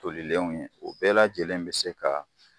Tolilenw ye o bɛɛ lajɛlen bi se ka